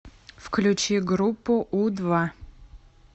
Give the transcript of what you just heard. включи группу у два